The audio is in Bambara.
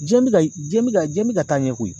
Jiyɛn bɛ ka jiyɛn bɛ ka jiyɛn bɛ ka taa ɲɛ koyi.